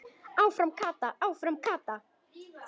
Áfram Kata, áfram Kata!